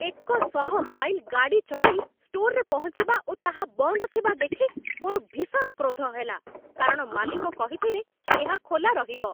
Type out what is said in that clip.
ଏକଶହ ମାଇଲ୍ ଗାଡ଼ି ଚଳାଇ ଷ୍ଟୋର୍‌ରେ ପହଞ୍ଚିବା ଓ ତାହା ବନ୍ଦ ଥିବା ଦେଖି ମୋର ଭୀଷଣ କ୍ରୋଧ ହେଲା, କାରଣ ମାଲିକ କହିଥିଲେ ଏହା ଖୋଲା ରହିବ।